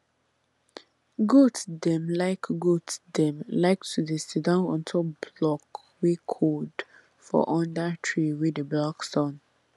goat dem like goat dem like to dey sidon ontop block wey cold for under tree wey dey block sun